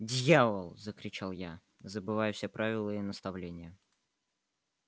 дьявол закричал я забывая все правила и наставления